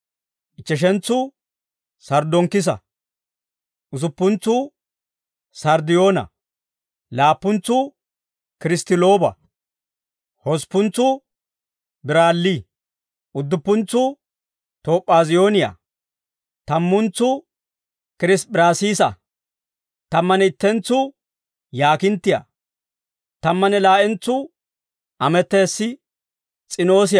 ichcheshentsuu sarddonkkisa; usuppuntsuu sarddiyoona; laappuntsuu kiristtilooba; hosppuntsuu biralli; udduppuntsuu toop'aaziyooniyaa; tammuntsuu kirisp'p'iraasiisa; tammanne ittentsuu yaakinttiyaa; tammanne laa'entsuu ametess's'inoosiyaa.